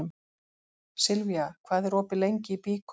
Silvía, hvað er opið lengi í Byko?